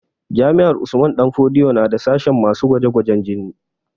Jami'ar Usman danfodiyo na da sashen masu gwaje gwajen jini